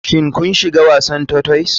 Shin kun shiga cikin wasan terhoise?